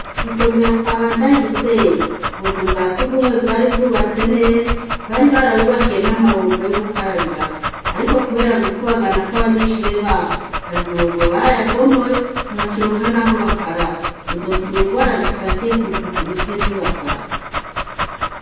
Kw'isomero kwa bandayizeri ubuza bwa siugumwe bwari bwubatse neza bari barabubakiye n'amabombo yo gukarabiramo, ariko, kubera gukubagana kw'abanyeshure babo aya amabombo bari ayabomoyi ntibakironka, naho bakaraba bizotuma ingwara zifatiye kw'isuku rike zibafata.